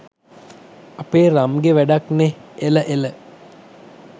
අපේ රම්ගෙ වැඩක් නෙහ් එල එල